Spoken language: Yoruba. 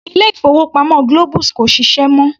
Ilé-ìfowópamọ́ Globus kò ṣiṣẹ́ mọ́.